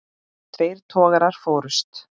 Tveir togarar fórust.